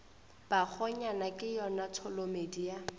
bakgonyana ke yona tholomedi ya